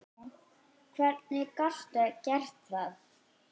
Hvernig gastu gert það?!